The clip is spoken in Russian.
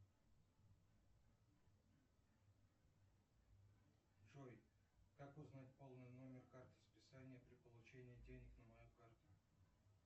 джой как узнать полный номер карты списания при получении денег на мою карту